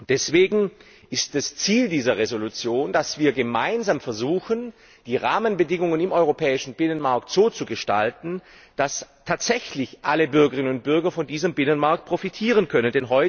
Deswegen ist das Ziel dieser Entschließung, dass wir gemeinsam versuchen, die Rahmenbedingungen im europäischen Binnenmarkt so zu gestalten, dass tatsächlich alle Bürgerinnen und Bürger von diesem Binnenmarkt profitieren können.